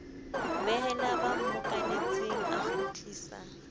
behela ba mmokanetseng a kgutlisa